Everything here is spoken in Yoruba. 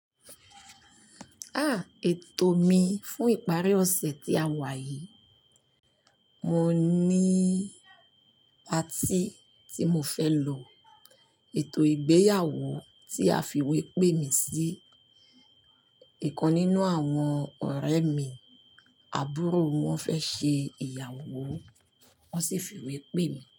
Ah! Ètò mi fún ìparí ọ̀sẹ̀ tí a wà yìí, mo ní patí tí mo fẹ́ lọ. Ètò ìgbéyàwó tí a fiwé pè mí sí. Ìkan nínú àwọn ọ̀rẹ́ mi àbúrò wọn fẹ́ ṣe ìyàwó, wọ́n sì fiwé pè mí.